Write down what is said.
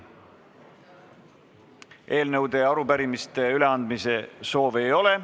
Eelnõude ja arupärimiste üleandmise soove ei ole.